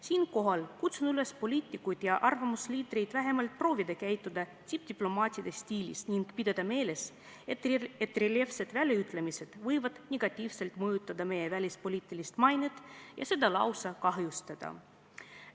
Siinkohal kutsun üles poliitikuid ja arvamusliidreid vähemalt proovima käituda diplomaatiliselt ning pidama meeles, et reljeefsed väljaütlemised võivad negatiivselt mõjutada meie välispoliitilist mainet ja seda lausa kahjustada.